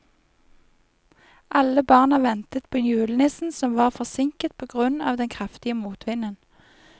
Alle barna ventet på julenissen, som var forsinket på grunn av den kraftige motvinden.